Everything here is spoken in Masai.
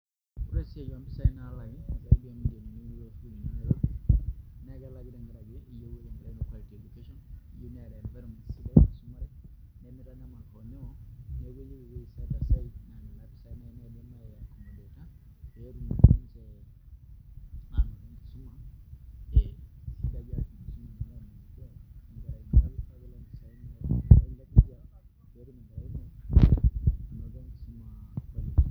Ore esiai oompisaai naalaki naa karibu milioni uni naa ore pee elaki na iyieu neeta nkera inonok quality education, iyieu neeta environment sidai naisumare nemitanyamal hoonyoo neeku keyieu ewuei set aside naa nena pisaai naa naidim aiaccomodate pee etum ninche aanoto enkisuma ee sidai ashu pee etum enkerai ino anoto enkisuma quality.